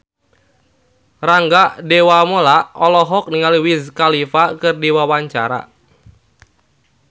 Rangga Dewamoela olohok ningali Wiz Khalifa keur diwawancara